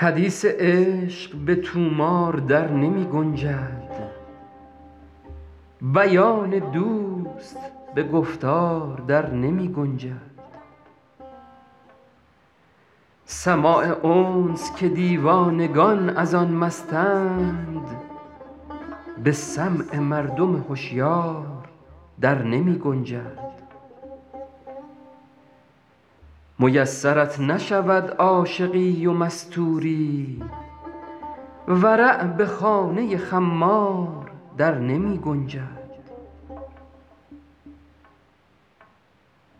حدیث عشق به طومار در نمی گنجد بیان دوست به گفتار در نمی گنجد سماع انس که دیوانگان از آن مستند به سمع مردم هشیار در نمی گنجد میسرت نشود عاشقی و مستوری ورع به خانه خمار در نمی گنجد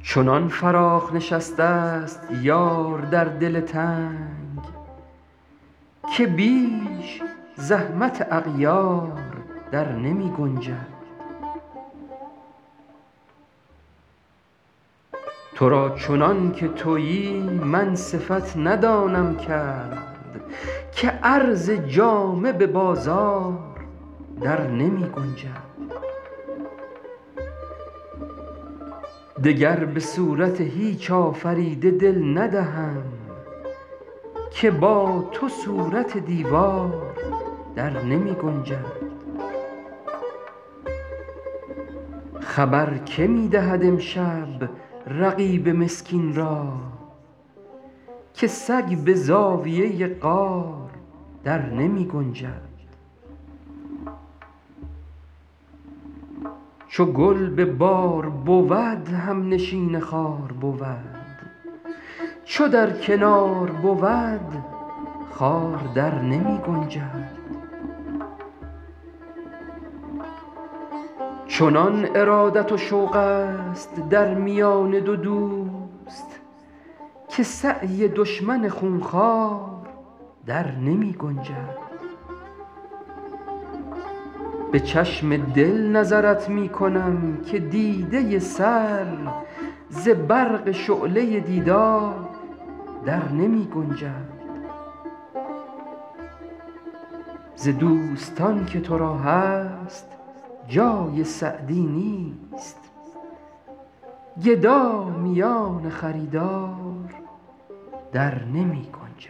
چنان فراخ نشسته ست یار در دل تنگ که بیش زحمت اغیار در نمی گنجد تو را چنان که تویی من صفت ندانم کرد که عرض جامه به بازار در نمی گنجد دگر به صورت هیچ آفریده دل ندهم که با تو صورت دیوار در نمی گنجد خبر که می دهد امشب رقیب مسکین را که سگ به زاویه غار در نمی گنجد چو گل به بار بود همنشین خار بود چو در کنار بود خار در نمی گنجد چنان ارادت و شوق ست در میان دو دوست که سعی دشمن خون خوار در نمی گنجد به چشم دل نظرت می کنم که دیده سر ز برق شعله دیدار در نمی گنجد ز دوستان که تو را هست جای سعدی نیست گدا میان خریدار در نمی گنجد